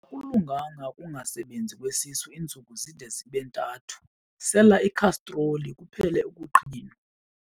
Akulunganga ukungasebenzi kwesisu iintsuku zide zibe ntathu, sela ikhastroli kuphele ukuqhinwa.